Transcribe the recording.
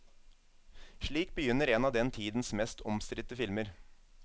Slik begynner en av den tidens mest omstridte filmer.